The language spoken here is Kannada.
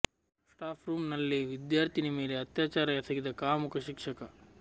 ಸ್ಟಾಫ್ ರೋಮ್ ನಲ್ಲೇ ವಿದ್ಯಾರ್ಥಿನಿ ಮೇಲೆ ಅತ್ಯಾಚಾರ ಎಸಗಿದ ಕಾಮುಕ ಶಿಕ್ಷಕ